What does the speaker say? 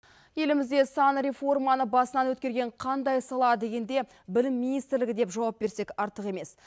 елімізде сан реформаны басынан өткерген қандай сала дегенде білім министрлігі деп жауап берсек артық емес